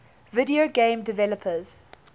video game developers